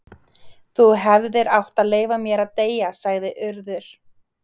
Þú hefðir átt að leyfa mér að deyja sagði Urður.